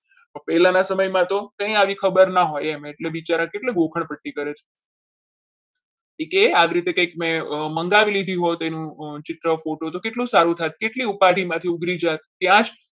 પહેલાના સમયમાં તો ક્યાંય આવી ખબર ના હોય એમ એટલે બિચારા કેટલી ગોખણપટ્ટી કરે એ કે મેં કંઈક આવી રીતે મંગાવી લીધી હોત એનું ચિત્ર photo તો કેટલું સારું થાત કેટલી ઉપાધિમાંથી ઉઘરી જાત ત્યાં જ